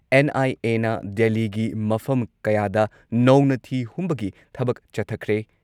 NIA. ꯅ ꯗꯦꯜꯂꯤꯒꯤ ꯃꯐꯝ ꯀꯌꯥꯗ ꯅꯧꯅ ꯊꯤ ꯍꯨꯝꯕꯒꯤ ꯊꯕꯛ ꯆꯠꯊꯈ꯭ꯔꯦ ꯫